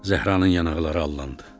Zəhranın yanaqları allandı.